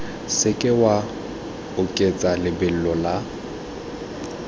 seke wa oketsa lebelo la